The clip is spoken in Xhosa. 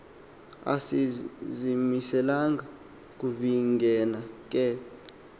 asizimiselanga kuvingena ke